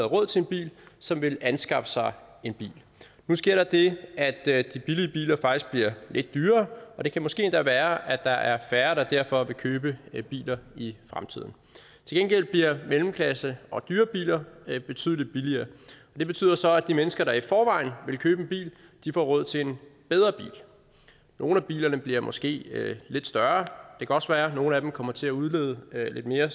råd til en bil som ville anskaffe sig en bil nu sker der det at at de billige biler faktisk bliver lidt dyrere og det kan måske endda være at der er færre der derfor vil købe biler i fremtiden til gengæld bliver mellemklassebiler og dyre biler betydelig billigere det betyder så at de mennesker der i forvejen ville købe en bil får råd til en bedre bil nogle af bilerne bliver måske lidt større det kan også være at nogle af dem kommer til at udlede lidt mere